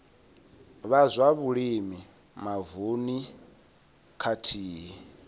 vha zwa vhulimi mavununi khathihi